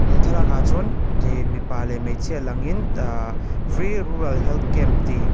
he thlalakah chuan ke mipa leh hmeichhia langin ahhh free rural helt camp tih--